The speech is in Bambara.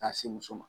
K'a se muso ma